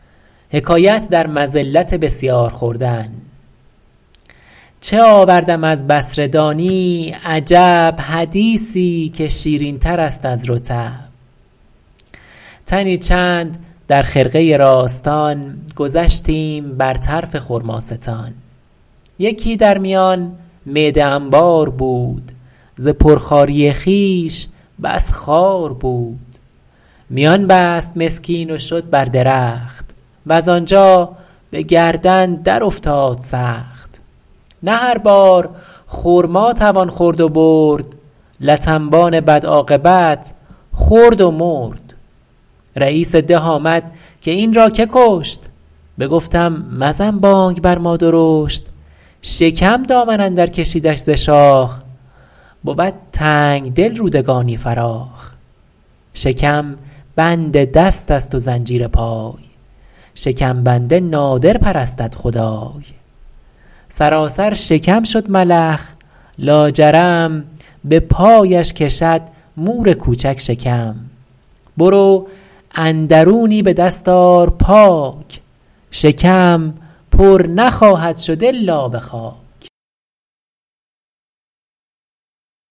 چه آوردم از بصره دانی عجب حدیثی که شیرین تر است از رطب تنی چند در خرقه راستان گذشتیم بر طرف خرماستان یکی در میان معده انبار بود ز پر خواری خویش بس خوار بود میان بست مسکین و شد بر درخت وز آنجا به گردن در افتاد سخت نه هر بار خرما توان خورد و برد لت انبان بد عاقبت خورد و مرد رییس ده آمد که این را که کشت بگفتم مزن بانگ بر ما درشت شکم دامن اندر کشیدش ز شاخ بود تنگدل رودگانی فراخ شکم بند دست است و زنجیر پای شکم بنده نادر پرستد خدای سراسر شکم شد ملخ لاجرم به پایش کشد مور کوچک شکم برو اندرونی به دست آر پاک شکم پر نخواهد شد الا به خاک